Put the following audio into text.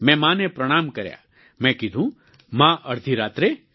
મેં માં ને પ્રણામ કર્યા મેં કિધું માં અડધી રાત્રે